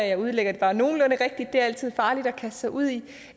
jeg udlægger det bare nogenlunde rigtigt det er altid farligt at kaste sig ud i